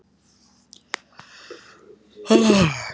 Rúnu sem stendur upp og flýr fram á ljósmyndastofuna.